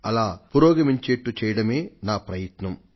అలా పురోగమించేటట్లు చేయడమే నా ప్రయత్నం